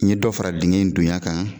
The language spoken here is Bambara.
N ye dɔ fara dingɛ in dunya kan